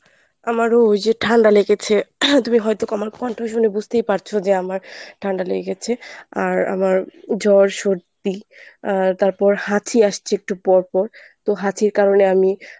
আমারো ওই যে ঠান্ডা লেগেছে। তুমি হয়ত আমার কন্ঠ শুনে বুঝতেই পারছো যে আমার ঠান্ডা লেগেছে আর আমার জ্বর সর্দি আর তারপর হাঁচি আসছে একটু পরপর তো হাঁচির কারণে আমি